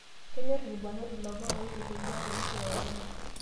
Kenyorr ilbarnot ilomon oitukuja too nkirorot enye.